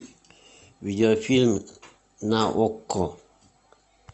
видеофильм на окко